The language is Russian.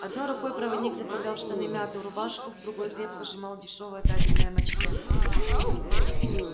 одной рукой проводник заправлял в штаны мятую рубашку в другой крепко сжимал дешёвое табельное мачете